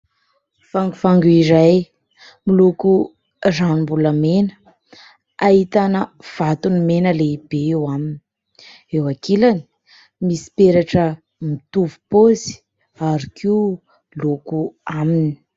Vangovango iray, miloko ranom-bolamena. Ahitana vatony mena lehibe eo aminy ; eo ankilany, misy peratra mitovy paozy ary koa loko aminy.